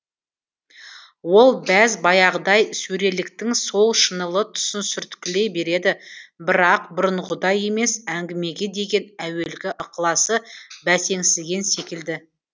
ол бәз баяғыдай сөреліктің сол шынылы тұсын сүрткілей береді бірақ бұрынғыдай емес әңгімеге деген әуелгі ықыласы бәсеңсіген секілді